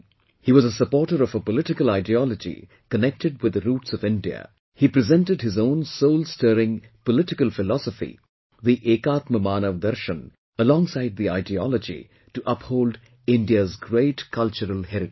He was a supporter of a political ideology connected with the roots of India, he presented his own soul stirring political philosophy, the EKAATMMAANAV DARSHAN alongside the ideology to uphold India's great cultural heritage